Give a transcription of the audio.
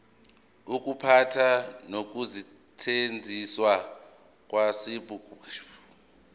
ukuphatha nokusetshenziswa kwenqubomgomo